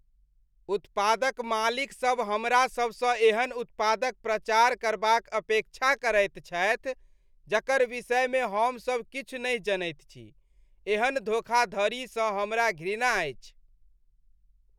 उत्पादक मालिकसभ हमरा सभसँ एहन उत्पादक प्रचार करबाक अपेक्षा करैत छथि जकर विषयमे हमसभ किछु नहि जनैत छी, एहन धोखाधड़ीसँ हमरा घृणा अछि।